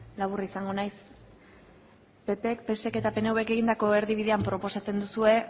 laburra izango naiz ppk psek eta pnvk egindako erdibidean proposatzen duzue